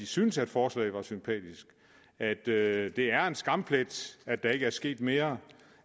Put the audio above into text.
synes at forslaget er sympatisk at det er en skamplet at der ikke er sket mere